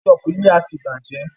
Kẹ́ṣọpù yìí a ti bàjẹ́.